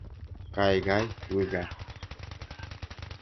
Kaikai wi kaa.